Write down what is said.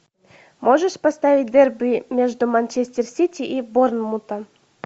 можешь поставить дерби между манчестер сити и борнмутом